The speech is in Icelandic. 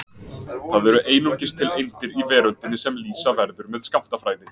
Það eru einungis til eindir í veröldinni sem lýsa verður með skammtafræði.